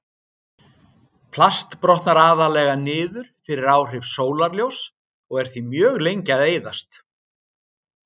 Plast brotnar aðallega niður fyrir áhrif sólarljóss og er því mjög lengi að eyðast.